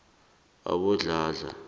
abodladla